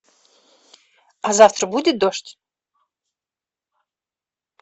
а завтра будет дождь